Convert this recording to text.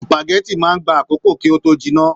Supágẹ̀tì máa n gbà àkókò kí o to jinná.